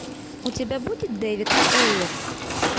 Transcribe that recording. у тебя будет дэвид эйр